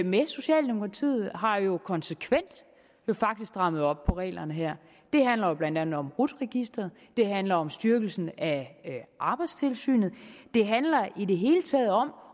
med socialdemokratiet har jo konsekvent faktisk strammet op på reglerne her det handler jo blandt andet om rut registeret det handler om styrkelsen af arbejdstilsynet det handler i det hele taget om